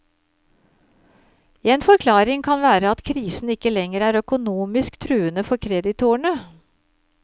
En forklaring kan være at krisen ikke lenger er økonomisk truende for kreditorene.